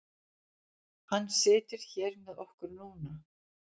Hann situr hér með okkur núna.